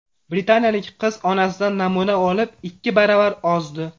Britaniyalik qiz onasidan namuna olib, ikki baravar ozdi.